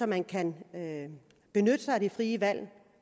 man kan benytte sig af det frie valg